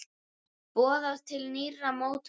Boðað til nýrra mótmæla